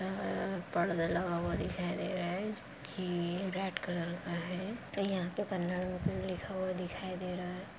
दिखाई दे रहा है।